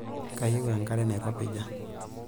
Kayieu enkare nairopija.